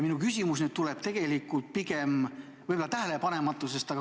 Minu küsimus tuleb pigem võib-olla minu tähelepanematusest.